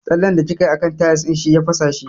Tsallen da kikayi a kan tayis ɗin shi ya fasa shi